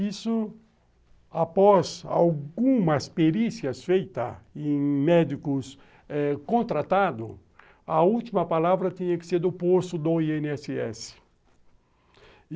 Isso, após algumas perícias feitas em médicos contratados, a última palavra tinha que ser do posto do i ene esse esse.